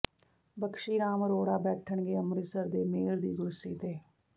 ਬਕਸ਼ੀ ਰਾਮ ਅਰੋੜਾ ਬੈਠਣਗੇ ਅੰਮ੍ਰਿਤਸਰ ਦੇ ਮੇਅਰ ਦੀ ਕੁਰਸੀ ਤੇ